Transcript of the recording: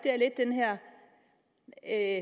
er